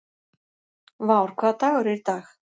Vár, hvaða dagur er í dag?